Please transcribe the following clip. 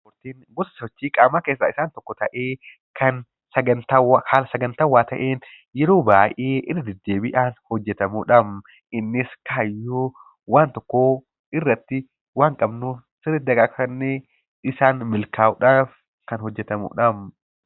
Ispoortiin gosa sochii qaamaa keessaa tokko ta'ee; kan haala sagantawwaa ta'een yeroo baayyee irra deddeebiidhaan hojjetamuudha. Innis kaayyoo waan tokkoo irratti waan qabnuuf sirriitti dagaagfannee isaan milkaa'uudhaaf kan hojjetamuudha.